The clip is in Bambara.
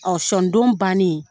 sɔni don bannen